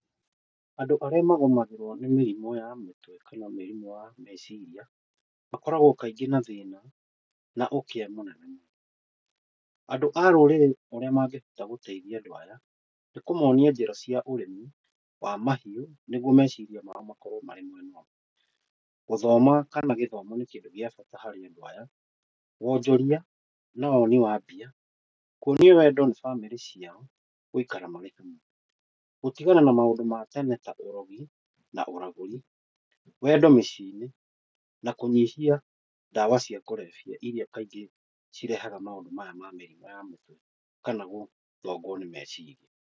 Andũ arĩa magũmagĩrwo nĩ mĩrimũ ya mũtwe kana mĩrimũ ya meciria makoragwo kaingĩ na thĩna na ũkĩa mũingĩ mũno. Andũ a rũrĩrĩ ũrĩa mangĩhota gũteithia andũ aya nĩkũmonia njĩra cia ũrĩmi wa mahiũ nĩguo meciria mao makorwo marĩ mwena ũmwe. Gũthoma kana gĩthomo nĩ kĩndũ gĩa bata harĩ andũ aya, wonjoria na woni wa mbia, kuonio wendo nĩ bamĩrĩ ciao gũikara marĩ hamwe, gũtigana na maũndũ ma tene ta ũrogi na ũragũri, wendo mĩciĩ-inĩ na kũnyihia ndawa cia kũrebia iria kaingĩ cirehaga maũndũ maya ma mĩrimũ ya mũtwe kana gũthongwo nĩ meciria.